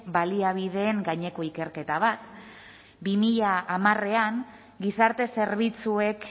baliabideen gaineko ikerketa bat bi mila hamarean gizarte zerbitzuek